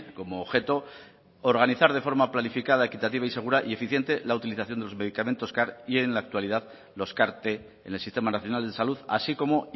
como objeto organizar de forma planificada equitativa y segura y eficiente la utilización de los medicamentos car y en la actualidad los cart t en el sistema nacional de salud así como